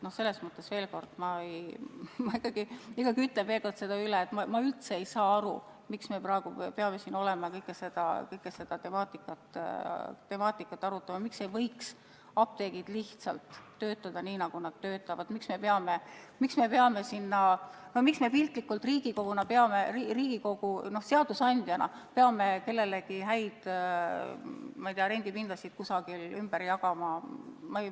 Selles mõttes ma ikkagi ütlen veel kord, et ma üldse ei saa aru, miks me praegu peame siin kogu seda temaatikat arutama, miks ei võiks apteegid lihtsalt töötada nii, nagu nad töötavad, miks me peame Riigikoguna, seadusandjana kellelegi häid rendipindasid kuidagi ümber jagama.